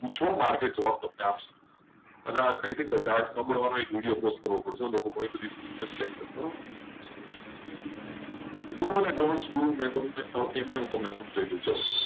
કેમ છો market તમને જવાબ આપશે. અને આ વિડીયો તમે પોસ્ટ કરવો પડશે. ગણી બધી mistake છે do and dont એમાંય તમને સમજાવી દઉં.